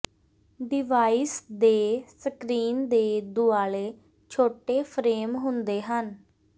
device ਦੇ screen ਦੇ ਦੁਆਲੇ ਛੋਟੇ ਫਰੇਮ ਹੁੰਦੇ ਹਨ